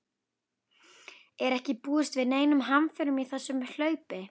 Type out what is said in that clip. Er ekki búist við neinum hamförum í þessu hlaupi?